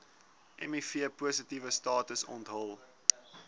mivpositiewe status onthul